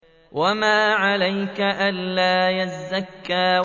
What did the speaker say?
وَمَا عَلَيْكَ أَلَّا يَزَّكَّىٰ